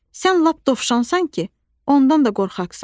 Sən lap dovşansan ki, ondan da qorxaqsan.